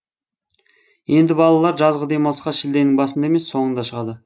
енді балалар жазғы демалысқа шілденің басында емес соңында шығады